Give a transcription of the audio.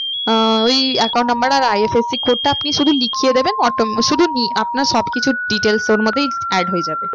আহ ওই account number আর IFSC code টা আপনি শুধু লিখিয়ে দেবেন শুধু আপনার সব কিছু details ওর মধ্যেই add হয়ে যাবে।